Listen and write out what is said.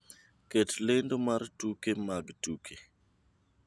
Ket lendo mar tuke mag tuke